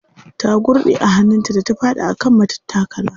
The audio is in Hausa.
Ta gurɗe a hannun ta da ta faɗi a kan matattakala.